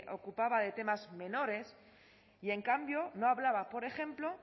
ocupaba de temas menores y en cambio no hablaba por ejemplo